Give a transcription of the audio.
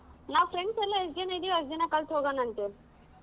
ನಾವ್ friends ಎಲ್ಲಾ ಎಷ್ಟ್ ಜನಾ ಇದಿವೋ ಅಷ್ಟ್ ಜನಾ first ಹೋಗೋಣ ಅಂತೆ.